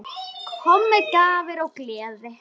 Mér er þetta mál skylt.